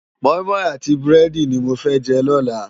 Mòimòi áti búrèdi ni mó fè jè lòlá